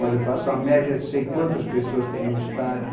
Mas eu faço a média, sei quantas pessoas tem num estádio.